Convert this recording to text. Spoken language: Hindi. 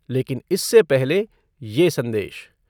लेकिन इससे पहले ये संदेश